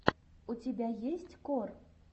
у тебя есть кор